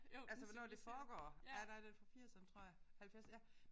Altså hvornår det foregår ja der det fra firserne tror jeg 70 ja